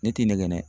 Ne t'i nɛgɛn dɛ